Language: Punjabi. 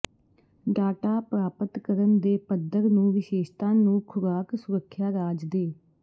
ਡਾਟਾ ਪ੍ਰਾਪਤ ਕਰਨ ਦੇ ਪੱਧਰ ਨੂੰ ਵਿਸ਼ੇਸ਼ਤਾ ਨੂੰ ਖੁਰਾਕ ਸੁਰੱਖਿਆ ਰਾਜ ਦੇ